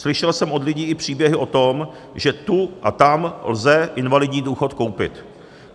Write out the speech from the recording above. Slyšel jsem od lidí i příběhy o tom, že tu a tam lze invalidní důchod koupit.